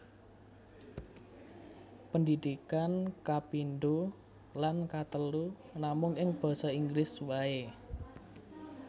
Pendidikan kapindho lan katelu namung ing basa Inggris waé